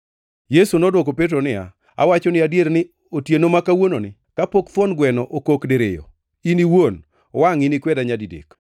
Yesu nodwoko Petro niya, “Awachoni adier ni otieno ma kawuononi, kapok thuon gweno okok diriyo in iwuon wangʼ inikweda nyadidek.”